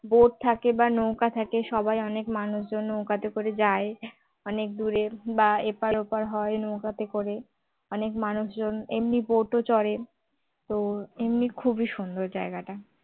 boat থাকে বা নৌকা থাকে সবাই অনেক মানুষজন নৌকাতে করে যায় অনেক দূরে বা এপার ওপার হয় নৌকাতে করে অনেক মানুষজন এমনি boat ও চড়ে তো এমনি খুবই সুন্দর জায়গাটা